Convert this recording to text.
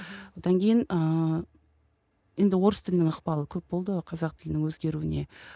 одан кейін ыыы енді орыс тілінің ықпалы көп болды ғой қазақ тілінің өзгеруіне